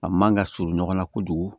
A man ka surun ɲɔgɔn na kojugu